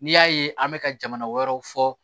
N'i y'a ye an bɛ ka jamana wɛrɛw fɔ